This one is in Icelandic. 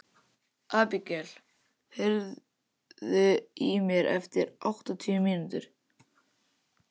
Abigael, heyrðu í mér eftir áttatíu mínútur.